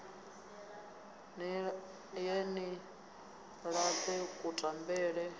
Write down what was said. ni ye ni ṱane kutambele